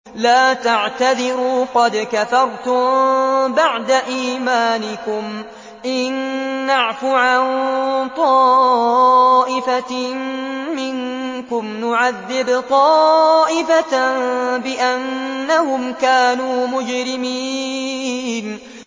لَا تَعْتَذِرُوا قَدْ كَفَرْتُم بَعْدَ إِيمَانِكُمْ ۚ إِن نَّعْفُ عَن طَائِفَةٍ مِّنكُمْ نُعَذِّبْ طَائِفَةً بِأَنَّهُمْ كَانُوا مُجْرِمِينَ